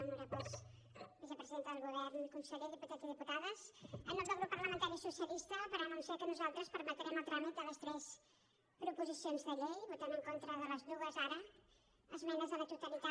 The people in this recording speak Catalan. honorables vicepresidenta del govern conseller diputats i diputades en nom del grup socialista per anunciar que nosaltres permetrem el tràmit de les tres proposicions de llei votant en contra de les dues ara esmenes a la totalitat